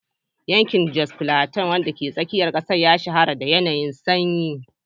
Yankin Jos Plateau, wanda ke tsakiyar kasar, ya shahara da yanayin sanyi.